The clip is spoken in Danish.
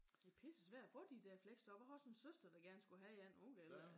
Det er pissesvært at få de der fleksjob. Jeg har også en søster der gerne skulle have et og hun kan heller ikke